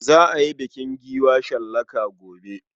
Za a yi bukin giwa shallaka gobe.